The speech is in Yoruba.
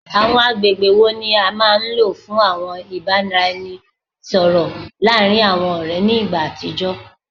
Awọn agbegbe wo ni a maa n lo fun awọn ibaraẹnisọrọ laarin awọn ọrẹ ni igba atijọ?